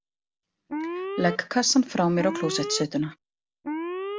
Legg kassann frá mér á klósettsetuna.